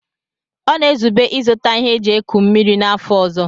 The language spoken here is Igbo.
Ọ na-ezube ịzụta ihe eji eku mmiri n'afọ ọzọ.